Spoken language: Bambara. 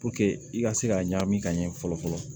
i ka se ka ɲam ka ɲɛ fɔlɔ fɔlɔ